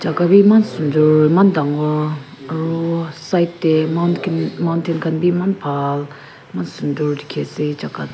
jaga be eman sundar eman dangor aru side teh mountain mountain khan be eman bhal eman sundar dikhi ase jaga--